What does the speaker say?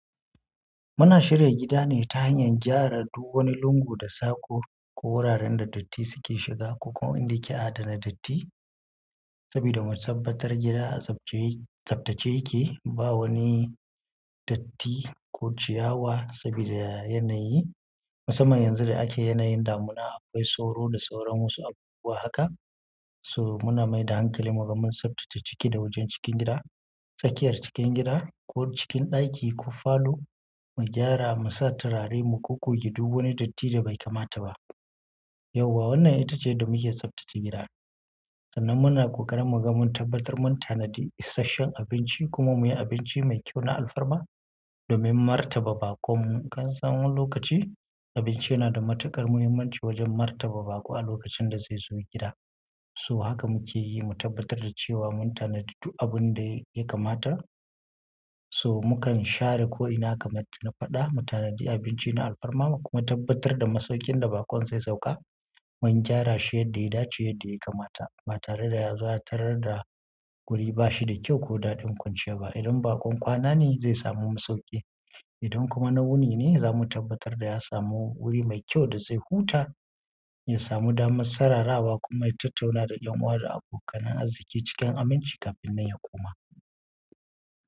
Muna shirya gida ne ta hanyar gyara duk wani lungu da sako ko wuraren da datti suke shiga ko ko inda ke adana datti. Saboda mu tabbatar gida a tsaftace yake, ba wani datti ko ciyawa saboda yanayi. Musamman yanzu da ake yanayin damuna, akwai sauro da sauran wasu abubuwa haka. So muna mai da hankali, muga mun tsaftace ciki da wajen cikin gida, tsakiyar cikin gida ko cikin ɗaki ko falo mu gyara, mu sa turare mu goggoge duk wani datti da bai kamata ba. Yauwa wannan ita ce da muke tsaftace gida. Sannan muna ƙoƙarin muga mun tabbatar mun tanadi isasshen abinci kuma muyi abinci mai kyau na alfarma domin martaba baƙo. Mun kasan wani lokaci, abinci yana da matuƙar muhimmanci wajen martaba baƙo a lokacin da zaizo gida. So haka muke yi, mu tabbatar da cewa mun tanadi du abunda yaka kamata. So mukan share ko'ina kamar na faɗa, mu tanadi abinci na alfarma kuma tabbatar da masaukin da baƙon zai sauka mun gyara shi yadda ya dace yadda ya kamata. Ba tare yazo ya tarar da guri bashida ƙyau ko daɗin kwanciya ba idan baƙon kwana ne zai samu masauki. Idan kuma na wuni ne, za mu tabbatar da ya samu wuri mai kyau da zai huta, ya samu damar sararawa kuma ya tattauna da ƴan uwa da abokanan azziki cikin aminci kafin nan ya koma.